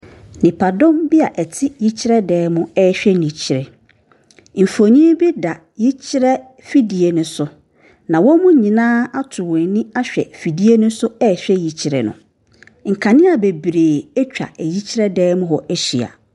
Nipa dom bia ɛte yikyerɛ dan mu ɛhwɛ yikyerɛ mfoni bi da yikyerɛ afidie no so na ɔmu nyinaa atɔ wɔn ani hwɛ afidie no so ɛhyɛ yikyerɛ nkanea bebiri ɛtwa yikyerɛ dan mu ɛhyɛ.